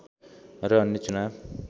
र अन्य चुनाव